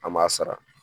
An m'a sara